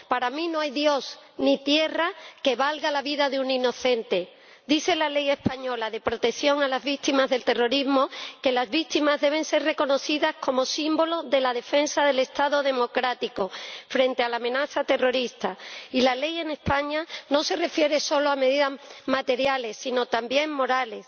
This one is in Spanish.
Para mí, no hay Dios ni tierra que valgan la vida de un inocente. Dice la Ley española de reconocimiento y protección integral a las víctimas del terrorismo que las víctimas deben ser reconocidas como símbolo de la defensa del Estado democrático frente a la amenaza terrorista, y la Ley en España no se refiere solo a medidas materiales, sino también morales.